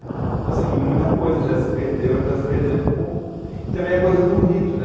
Então, assim, muita coisa já se perdeu e está se perdendo por... E também a coisa do rito, né?